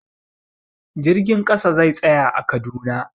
Jirgin ƙasa zai tsaya a Kaduna.